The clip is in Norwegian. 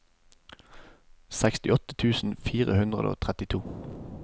sekstiåtte tusen fire hundre og trettito